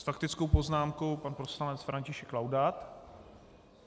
S faktickou poznámkou pan poslanec František Laudát.